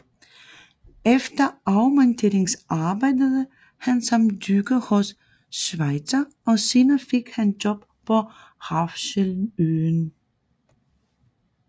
Efter afmønstring arbejdede han som dykker hos Switzer og senere fik han job på Refshaleøen